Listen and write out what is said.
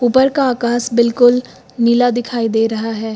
ऊपर का आकाश बिल्कुल नीला दिखाई दे रहा है।